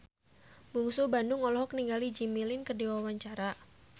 Bungsu Bandung olohok ningali Jimmy Lin keur diwawancara